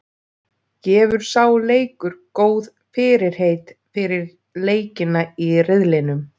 Gefur sá leikur góð fyrirheit fyrir leikina í riðlinum?